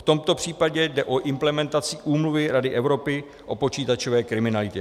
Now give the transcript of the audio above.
V tomto případě jde o implementaci Úmluvy Rady Evropy o počítačové kriminalitě.